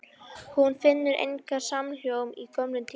Og hún finnur engan samhljóm í gömlum tíma.